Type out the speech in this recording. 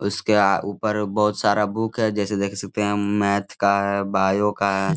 उसके आ ऊपर बहुत सारा बुक है जैसे देख सकते है मैथ का है बायो का है